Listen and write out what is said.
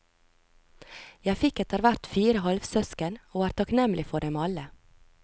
Jeg fikk etterhvert fire halvsøsken, og er takknemlig for dem alle.